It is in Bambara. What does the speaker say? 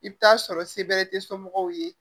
I bɛ taa sɔrɔ se bɛrɛ tɛ somɔgɔw ye